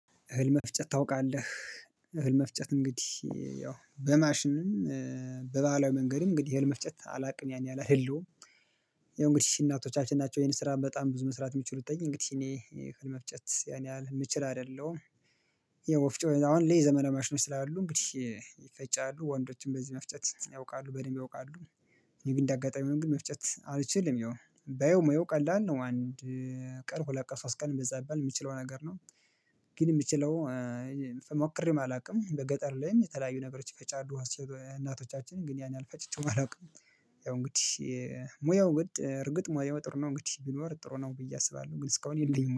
እህል መፍጨት ታውቃለህ? እህል መፍጨት እንግዲህ ያው በማሽንም በባህላዊ መንገድም እንግዲህ የህል መፍጨት አላውቅም ያን ያህል አይደለሁም ያው እንግዲህ እናቶቻችን ናቸው ይሄን ስራ በጣም ብዙ መስራት የሚችሉትኝ እንግዲህ እኔ እህል መፍጨት ያኔ ያህል የምችል አይደለሁም። ያው ወፍጮ አሁን ዘመናዊ ማሽኖች ስላሉ እንግዲህ ይፈጫሉ ወንዶችም በዚህ መፍጨት ያውቃሉ በደንብ ያውቃሉ እኔ ግን እንደ አጋጣሚ ሆኖ ግን መፍጨት አልችልም ያው ባየው ሙያው ቀላል ነው፣ አንድ ቀን ሁለት ቀን ሶስት ቀን በዛ ቢባል የሚችለው ነገር ነው ግን የምችለው ሞክሬም አላውቅም በገጠር ላይም የተለያዩ ነገሮች ይፈጫሉ እናቶቻችን ግን ያን ያህል ፈጭቼም አላውቅም ያው እንግዲህ ሙያው እንግዲህ እርግጥ ሙያው ጥሩ ነው እንግዲህ ቢኖር ጥሩ ነው ብዬ አስባለሁ ግን እስካሁን የለኝም።